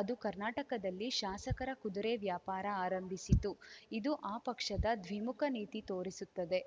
ಅದು ಕರ್ನಾಟಕದಲ್ಲಿ ಶಾಸಕರ ಕುದುರೆ ವ್ಯಾಪಾರ ಆರಂಭಿಸಿತು ಇದು ಆ ಪಕ್ಷದ ದ್ವಿಮುಖ ನೀತಿ ತೋರಿಸುತ್ತದೆ